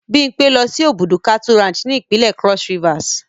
Bimpe lo si Obudu Cattle Ranch ni ipinle Cross Rivers